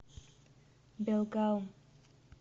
белгаум